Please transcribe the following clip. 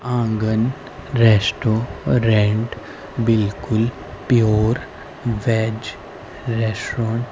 आंगन रेस्टोरेंट बिल्कुल pure veg restaurant --